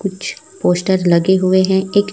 कुछ पोस्टर लगे हुए हैं एक--